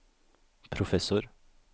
professor